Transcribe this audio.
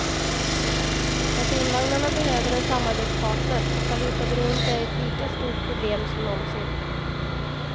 Personvagnarna behöver en samarbetspartner och valutaberoendet är ett lika stort problem som någonsin.